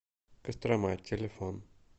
кострома телефон